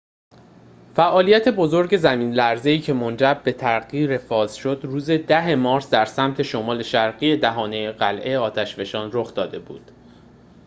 فعالیت بزرگ زمین‌لرزه‌ای که منجر به تغییر فاز شد روز ۱۰ مارس در سمت شمال شرقی دهانه قلّه آتش‌فشان رخ داده بود